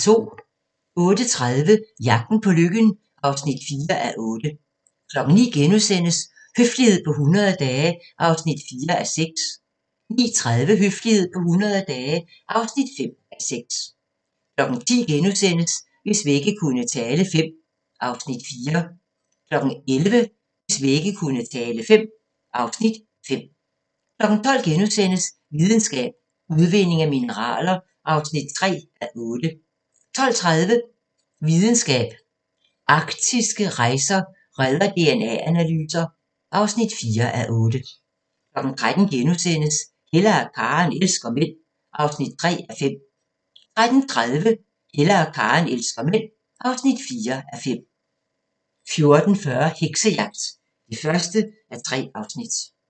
08:30: Jagten på lykken (4:8) 09:00: Høflighed på 100 dage (4:6)* 09:30: Høflighed på 100 dage (5:6) 10:00: Hvis vægge kunne tale V (Afs. 4)* 11:00: Hvis vægge kunne tale V (Afs. 5) 12:00: Videnskab: Udvinding af mineraler (3:8)* 12:30: Videnskab: Arktiske rejer redder DNA-analyser (4:8) 13:00: Hella og Karen elsker mænd (3:5)* 13:30: Hella og Karen elsker mænd (4:5) 14:40: Heksejagt (1:3)